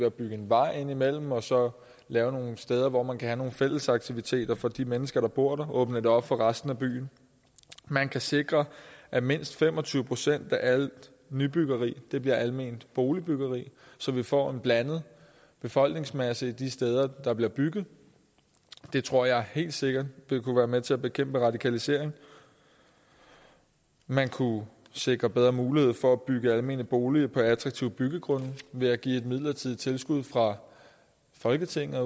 at bygge en vej indimellem og så lave nogle steder hvor man kan have nogle fælles aktiviteter for de mennesker der bor der altså åbne det op for resten af byen man kan sikre at mindst fem og tyve procent af alt nybyggeri bliver alment boligbyggeri så vi får en blandet befolkningsmasse de steder hvor der bliver bygget det tror jeg helt sikkert vil kunne være med til at bekæmpe radikalisering man kunne sikre bedre muligheder for at bygge almene boliger på attraktive byggegrunde ved at give et midlertidig tilskud fra folketinget